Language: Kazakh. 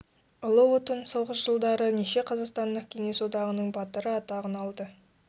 ұлы отан соғыс жылдары неше қазақстандық кеңес одағының батыры атағын алды